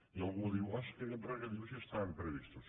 i algú diu oh és que aquests regadius ja estaven previstos